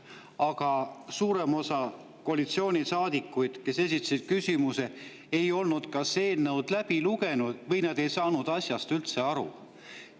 Aga suurem osa koalitsioonisaadikuid, kes küsimusi esitasid, ei olnud eelnõu läbi lugenud või ei saanud asjast üldse aru.